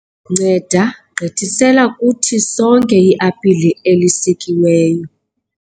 nceda gqithisela kuthi sonke iapile elisikiweyo